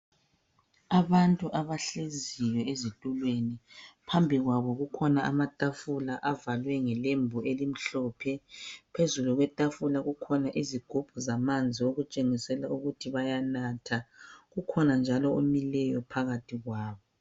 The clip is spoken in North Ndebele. Abantu abahlezi ezitulweni phambili kwabo kukhona amatafula avalwe ngelembu elimhlophe phezulu kwetafula kukhona izigubhu zamanzi okutshengisela ukuthi bayanatha kukhona njalo omileyo phakathi kwabo